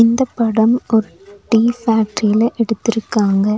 இந்த படம் ஒரு டீ ஃபேக்ட்ரில எடுத்துருக்காங்க.